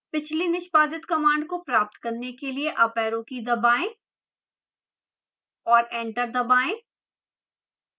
पिछली निष्पादित command को प्राप्त करने के लिए अप arrow की दबाएं और enter दबाएं